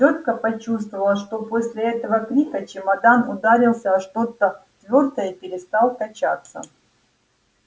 тётка почувствовала что после этого крика чемодан ударился о что-то твёрдое и перестал качаться